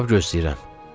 Cavab gözləyirəm.